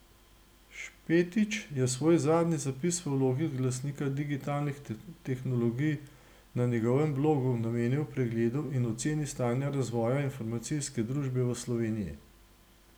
Špetič je svoj zadnji zapis v vlogi glasnika digitalnih tehnologij na njegovem blogu namenil pregledu in oceni stanja razvoja informacijske družbe v Sloveniji.